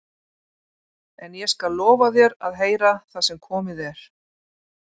En ég skal lofa þér að heyra það sem komið er.